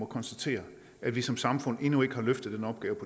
konstatere at vi som samfund endnu ikke har løftet den opgave